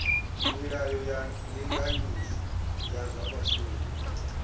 milayo ya ndinganyiso ya zwa vhashumi